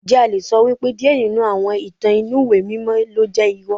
Ǹjẹ́ a le sọ wípé díẹ̀ nínú àwọn ìtàn inú ìwé mímọ́ ló jẹ́ irọ́?